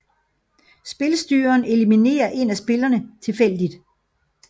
Spilstyreren eliminerer en af spillerne tilfældigt